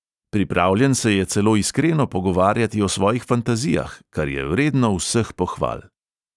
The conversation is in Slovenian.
Pripravljen se je celo iskreno pogovarjati o svojih fantazijah, kar je vredno vseh pohval.